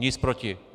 Nic proti.